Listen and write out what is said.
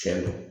Tiɲɛ don